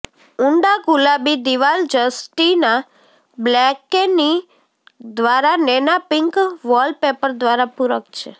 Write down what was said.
ઊંડા ગુલાબી દિવાલ જસ્ટિના બ્લકેની દ્વારા નેના પિંક વોલપેપર દ્વારા પૂરક છે